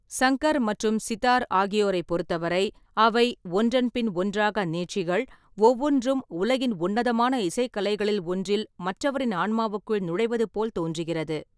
சங்கர் மற்றும் சிதார் ஆகியோரைப் பொறுத்தவரை, அவை ஒன்றன்பின் ஒன்றாக நீட்சிகள், ஒவ்வொன்றும் உலகின் உன்னதமான இசைக் கலைகளில் ஒன்றில் மற்றவரின் ஆன்மாவுக்குள் நுழைவது போல் தோன்றுகிறது.